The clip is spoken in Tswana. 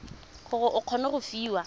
gore o kgone go fiwa